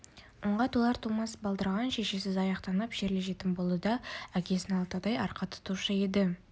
онға толар-толмас балдырған шешесіз аяқтанып шерлі жетім болды да әкесін алатаудай арқа тұтушы еді